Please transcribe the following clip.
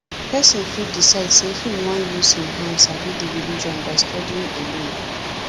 person fit decide sey im wan use im hand sabi di religion by studying alone